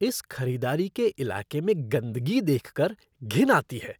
इस खरीदारी के इलाके में गंदगी देख कर घिन आती है।